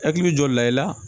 Hakili jɔ la i la